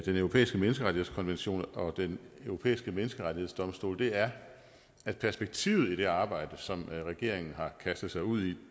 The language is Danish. europæiske menneskerettighedskonvention og den europæiske menneskerettighedsdomstol er at perspektivet i det arbejde som regeringen har kastet sig ud i